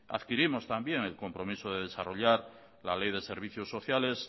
adquirimos también el compromiso de desarrollar la ley de servicios sociales